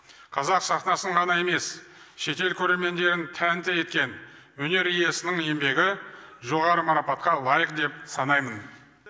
қазақ сахнасын ғана емес шетел көрермендерін тәнті еткен өнер иесінің еңбегі жоғары марапатқа лайық деп санаймын